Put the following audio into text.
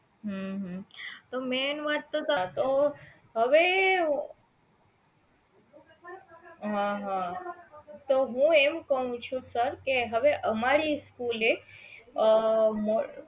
હમ હમ